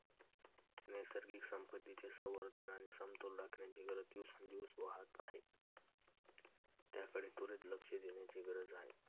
नैसर्गिक संपत्तीचे संवर्धन आणि समतोल राखण्याची गरज दिवसेंदिवस वाढत आहे. ज्याकडे त्वरित लक्ष देण्याची गरज आहे.